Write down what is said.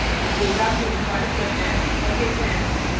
अब program को निष्पादित करते हैं और देखते हैं